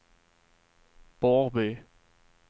Borrby